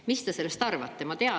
Mis te sellest arvate?